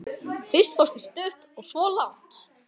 Fyrst fórstu stutt og svo langt.